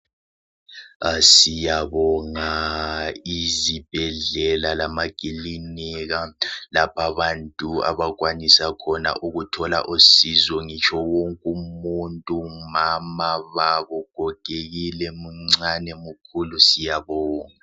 Siyabonga izibhedlela lamakilinika lapha abantu abakwanisa khona ukuthola usizo ngitsho wonke umuntu, mama, baba, ugogekile, muncane ,mukhulu siyabonga.